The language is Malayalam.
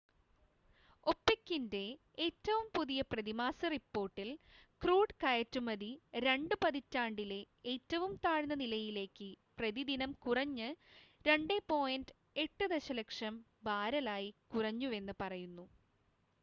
ഒപെക്കിൻ്റെ ഏറ്റവും പുതിയ പ്രതിമാസ റിപ്പോർട്ടിൽ ക്രൂഡ് കയറ്റുമതി രണ്ട് പതിറ്റാണ്ടിലെ ഏറ്റവും താഴ്ന്ന നിലയിലേക്ക് പ്രതിദിനം കുറഞ്ഞ് 2.8 ദശലക്ഷം ബാരലായി കുറഞ്ഞുവെന്ന് പറയുന്നു